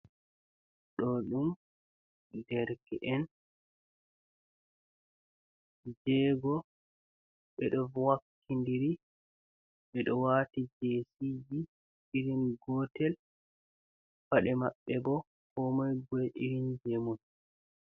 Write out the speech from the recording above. Ɗo ɗum derke’en jego ɓeɗo wakkidiri ɓe ɗo wati je siji irin gotel, paɗe maɓɓe bo ko moi be irin je mun.